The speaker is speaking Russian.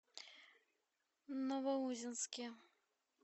новоузенске